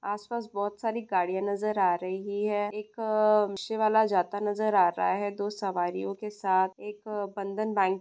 आसपास बहुत सारी गाड़ियां नजर आ रही है एक रिक्शावाला जाता नजर आ रहा है दो सवारियों के साथ एक बंधन बैंक --